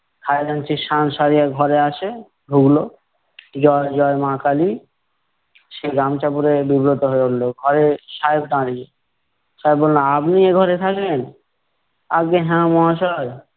খাজাঞ্চি সান সরিয়া ঘরে আসে, ঢুকলো। জয়, জয়, মা কালী। সে গামচা পরে বিব্রত হয়ে উঠলো, ঘরে সাহেব দাঁড়িয়ে। সাহেব বললো, আপনি এঘরে থাকেন? আজ্ঞে হ্যাঁ মহাশয়।